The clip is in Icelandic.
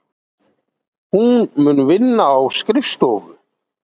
Hún mun vinna á skrifstofu.